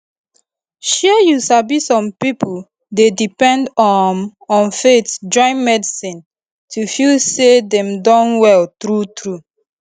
shey you sabi some pipo dey depend um on faith join medicine to feel say dem don well true true